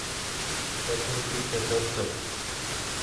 tetutik cheterter